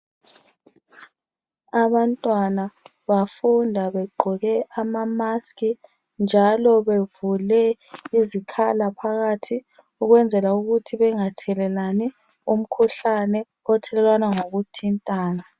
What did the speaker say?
Abantwana bafunda begqoke ama mask njalo bevule izikhala phakathi ukwenzela ukuthi bengathelelani umkhuhlane othelelwana ngokuthintana